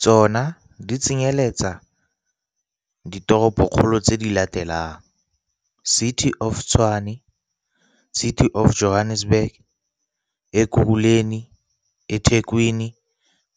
Tsona di tsenyeletsa ditoropokgolo tse di latelang - City of Tshwane City of Johannesburg Ekurhuleni eThekwini